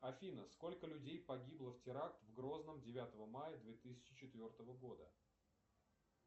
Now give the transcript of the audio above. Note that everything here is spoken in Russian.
афина сколько людей погибло в теракт в грозном девятого мая две тысячи четвертого года